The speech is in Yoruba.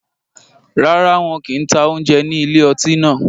Rárá, wọn kì ń ta oúnjẹ ní ilé ọtí náà